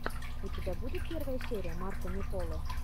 у тебя будет первая серия марко не поло